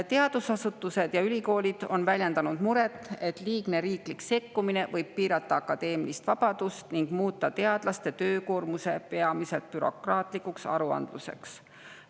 Teadusasutused ja ülikoolid on väljendanud muret, et liigne riiklik sekkumine võib piirata akadeemilist vabadust ning muuta teadlaste töökoormuse peamiselt bürokraatlikuks aruandluseks.